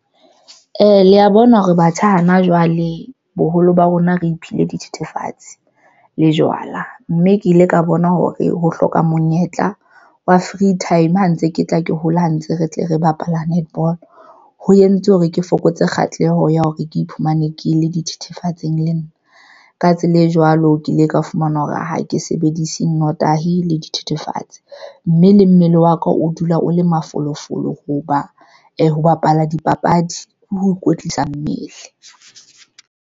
Le ya bona hore batjha hana jwale boholo ba rona, re iphile dithethefatsi le jwala mme ke ile ka bona hore ho hloka monyetla wa free time ha ntse ke tla ke hola ha ntse re tle re bapala netball ho entse hore ke fokotse kgahleho ya hore ke iphumane ke le dithethefatsing le nna ka tsela e jwalo, ke ile ka fumana hore ha ke sebedise notahi le dithethefatsi, mme le mmele wa ka o dula o le mafolofolo ho ba ho bapala dipapadi, ho ikwetlisa mmele.